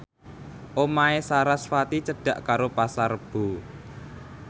omahe sarasvati cedhak karo Pasar Rebo